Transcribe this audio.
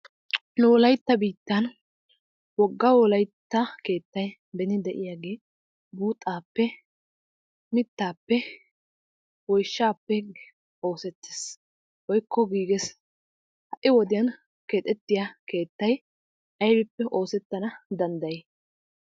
Nu wolayitta biittan wogga wolayitta keettay beni de"iyaagee buuxaappe, mittaappe, woyishaappe oosettes woyikko giiges. Hai wodiyan keexettiya keettay aybippe oosettana danddayi?